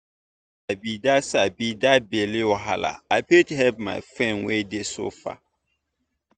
as i don sabi that sabi that belle wahala i fit help my friend wey dey suffer.